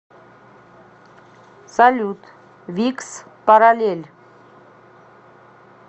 салют викс паралель